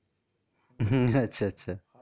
হম আচ্ছা আচ্ছা.